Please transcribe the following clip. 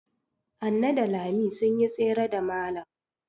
Hanne da Lami sun yi tsere da malam.